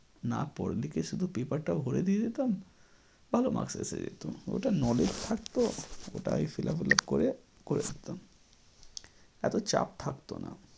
না পড়লে কি শুধু paper টা ভোরে দিয়ে দিতাম ভালো maks এসে যেত ওটা knowledge থাকতো ওটাই fillup fillup করে করে দিতাম এতো চাপ থাকতো না।